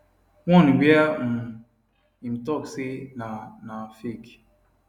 one wia um im tok say na na fake